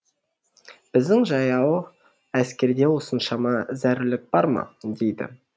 біздің жаяу әскерде осыншама зәрулік бар ма дейді